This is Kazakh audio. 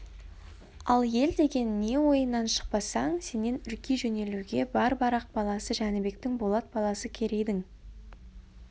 ал ел деген не ойынан шықпасаң сенен үрки жөнелуге бар барақ баласы жәнібектің болат баласы керейдің